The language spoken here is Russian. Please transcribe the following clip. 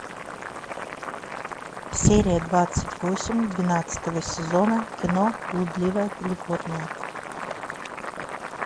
серия двадцать восемь двенадцатого сезона кино блудливая калифорния